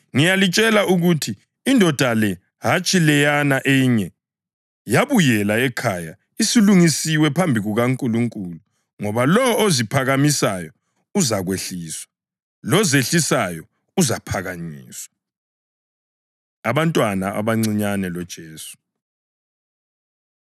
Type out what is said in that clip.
Ngiyalitshela ukuthi indoda le, hatshi leyana enye, yabuyela ekhaya isilungisiwe phambi kukaNkulunkulu. Ngoba lowo oziphakamisayo uzakwehliswa, lozehlisayo uzaphakanyiswa.” Abantwana Abancinyane LoJesu